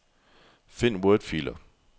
Find wordfiler.